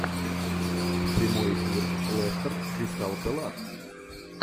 прямой эфир лестер кристал пэлас